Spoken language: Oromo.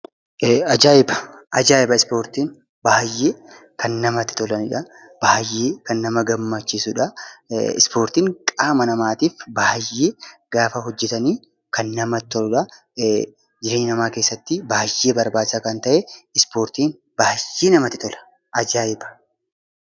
Ajaa'iba ispportiin baay'ee kan namatti toludha. Baay'ee kan nama gammachiisudha. Ispoortiin qaama namaatiif baay'ee gaafa hojjatan namatti toludha. Jireenya namaa keessatti baay'ee barbaachisaa kan ta'e ispoortiin baay'ee namatti tola ajaayiba!